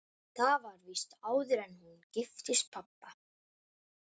Það var víst áður en hún giftist pabba.